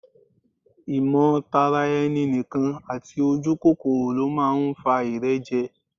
Ìmọ̀ tara ẹni nìkan àti ojúkòkòrò ló máa ń fa ìrẹ́jẹ